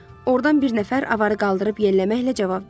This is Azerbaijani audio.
Ordan bir nəfər avarı qaldırıb yelləməklə cavab verdi.